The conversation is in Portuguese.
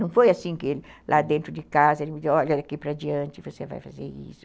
Não foi assim que ele, lá dentro de casa, ele me disse, olha, daqui para diante você vai fazer isso.